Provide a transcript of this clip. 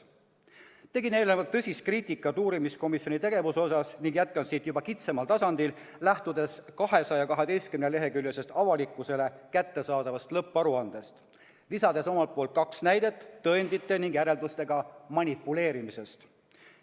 Tegin eelnevalt tõsist kriitikat uurimiskomisjoni tegevuse kohta ning jätkan siit juba kitsamal tasandil, lähtudes 212-leheküljelisest avalikkusele kättesaadavast lõpparuandest ja lisades omalt poolt kaks näidet tõendite ning järeldustega manipuleerimisest.